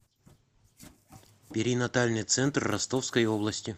перинатальный центр ростовской области